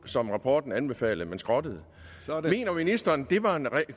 som rapporten anbefalede man skrottede mener ministeren det var en